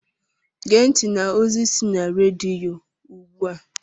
Gee ntị n'ozi si na rediyo ugbu a!